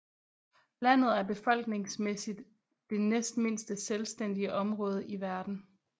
Landet er befolkningsmæssigt det næstmindste selvstændige område i verden